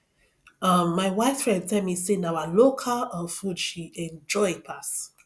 um my white friend tell me say na our local um food she enjoy pass